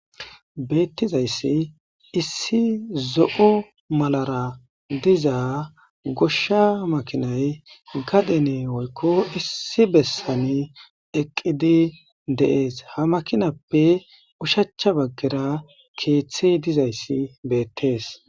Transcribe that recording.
Beetizaysi issi zo'o malara diza gosha makinay gaden woyko issi besan eqidi De'esi, ha makinappe oshacha bagara keetheyi dizaysi beetesi.